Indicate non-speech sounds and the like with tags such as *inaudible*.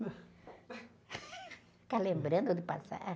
*laughs* Ficar lembrando do passado.